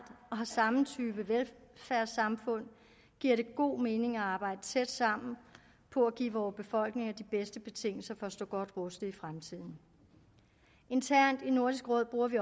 og har samme type velfærdssamfund giver det god mening at arbejde tæt sammen på at give vore befolkninger de bedste betingelser for at stå godt rustet i fremtiden internt i nordisk råd bruger vi